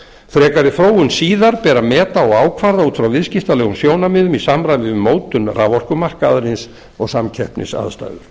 frekari þróun síðar ber að meta og ákvarða út frá viðskiptalegum sjónarmiðum í samræmi við mótun raforkumarkaðarins og samkeppnisaðstæður